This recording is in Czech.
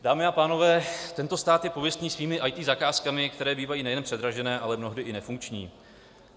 Dámy a pánové, tento stát je pověstný svými IT zakázkami, které bývají nejen předražené, ale mnohdy i nefunkční.